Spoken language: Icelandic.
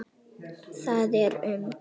Það er um